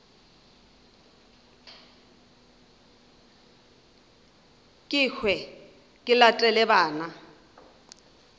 ke hwe ke latele bana